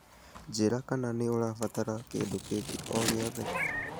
Njĩra kana nĩ ũrabatara kĩndũ kĩngĩ o gĩothe.